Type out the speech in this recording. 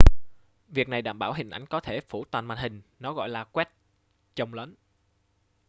việc này để đảm bảo hình ảnh có thể phủ toàn màn hình nó gọi là quét chồng lấn